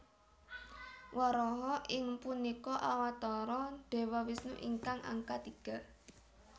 Waraha inggih punika Awatara Dewa Wisnu ingkang angka tiga